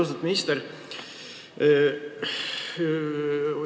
Austatud minister!